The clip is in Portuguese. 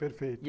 Perfeito.